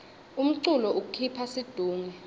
umculo ukhipha situnge